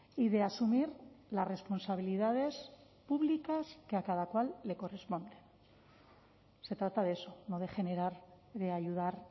y de asumir las responsabilidades públicas que a cada cual le corresponde se trata de eso no de generar de ayudar